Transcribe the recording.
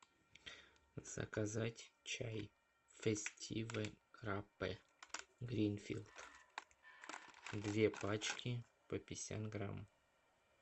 заказать чай фестиве граппе гринфилд две пачки по пятьдесят грамм